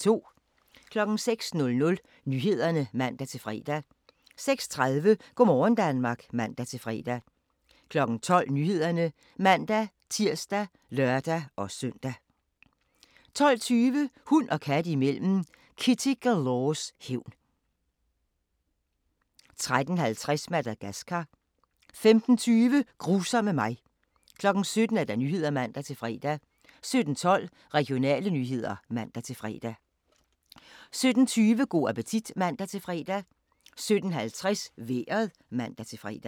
06:00: Nyhederne (man-fre) 06:30: Go' morgen Danmark (man-fre) 12:00: Nyhederne (man-tir og lør-søn) 12:20: Hund og kat imellem: Kitty Galores hævn 13:50: Madagascar 15:20: Grusomme mig 17:00: Nyhederne (man-fre) 17:12: Regionale nyheder (man-fre) 17:20: Go' appetit (man-fre) 17:50: Vejret (man-fre)